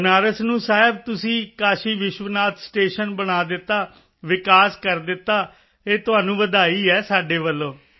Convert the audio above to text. ਬਨਾਰਸ ਨੂੰ ਸਾਹਿਬ ਤੁਸੀਂ ਕਾਸ਼ੀ ਵਿਸ਼ਵਨਾਥ ਸਟੇਸ਼ਨ ਬਣਾ ਦਿੱਤਾ ਵਿਕਾਸ ਕਰ ਦਿੱਤਾ ਇਹ ਤੁਹਾਨੂੰ ਵਧਾਈ ਹੈ ਸਾਡੇ ਵੱਲੋਂ